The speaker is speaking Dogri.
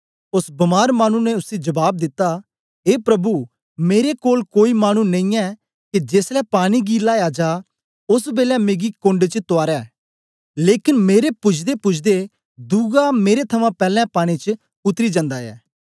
ओस बमार मानु ने उसी जबाब दिता ए प्रभु मेरे कोल कोई मानु नेईयै के जेसलै पानी गी लाया जा ओस बेलै मिगी कोण्ड च तूआरै लेकन मेरे पूजदेपूजदे दुआ मेरे थमां पैलैं पानी च उतरी जंदा ऐ